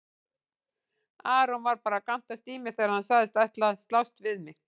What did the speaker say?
Aron var bara að gantast í mér þegar hann sagðist ætla að slást við mig.